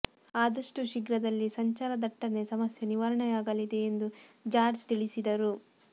ಆದಷ್ಟು ಶೀಘ್ರದಲ್ಲೇ ಸಂಚಾರ ದಟ್ಟಣೆ ಸಮಸ್ಯೆ ನಿವಾರಣೆಯಾಗಲಿದೆ ಎಂದು ಜಾರ್ಜ್ ತಿಳಿಸಿದರು